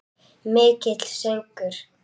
Mikill söngur.